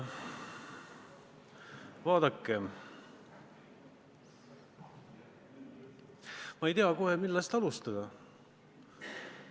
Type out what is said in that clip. Vaadake, ma ei tea kohe, millest alustada.